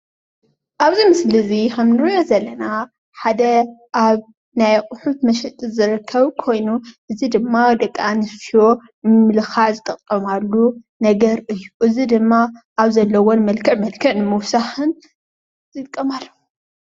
ኣብዚ ምስሊ እዚ ኸምእንሪኦ ዘለና ሓደ ኣብ ናይ ኣቁሑት መሸጢ ዝርከብ ኾይኑ እዚ ድም ደቂ ኣናስትዮ ንምምልካዕ ዝጥቀማሉ ነገር እዩ። እዙይ ድማ ኣብ ዘለወን መልክዕ መልክዕ ንምውሳኽ ዝጥቀማሉ ።